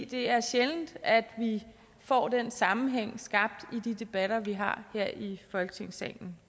det er sjældent at vi får den sammenhæng skabt i de debatter vi har her i folketingssalen